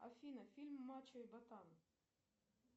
афина фильм мачо и ботан